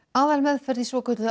aðalmeðferð í svokölluðu